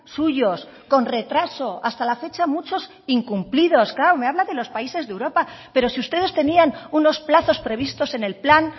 suyos con retraso hasta la fecha muchos incumplidos claro me habla de los países de europa pero si ustedes tenían unos plazos previstos en el plan